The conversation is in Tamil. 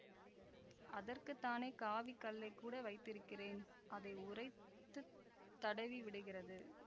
அதற்குத்தானே காவிக் கல்லைக் கூட வைத்திருக்கிறேன் அதை உரைத்துத் தடவிவிடுகிறது